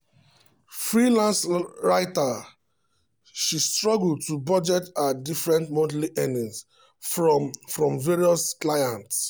freelance writer she struggle to budget her different monthly earnings from from various clients.